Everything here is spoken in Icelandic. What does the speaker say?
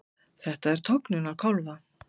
Þetta er tognun á kálfa.